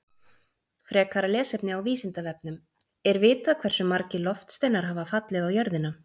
Frekara lesefni á Vísindavefnum: Er vitað hversu margir loftsteinar hafa fallið á jörðina?